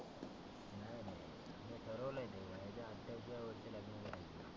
ठरवलय मी वयाच्या आठ्ठावीसाव्या लग्न वर्षी करायचं.